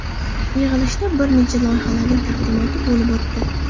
Yig‘ilishda bir nechta loyihalarning taqdimoti bo‘lib o‘tdi.